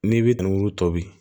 N'i b'i danburu tɔ bi